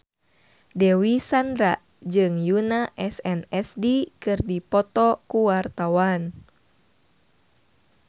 Dewi Sandra jeung Yoona SNSD keur dipoto ku wartawan